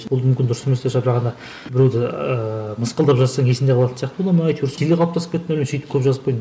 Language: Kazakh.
ол мүмкін дұрыс емес те шығар бірақ ана біреуді ыыы мысқылдап жазсаң есіңде қалатын сияқты бола ма әйтеуір жүйе қалыптасып кетті ме сөйтіп көп жазып қойдым